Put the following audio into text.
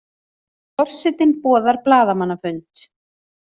Forsetinn boðar blaðamannafund